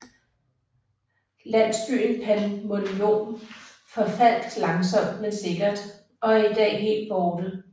Landsbyen Panmunjom forfaldt langsomt men sikkert og er i dag helt borte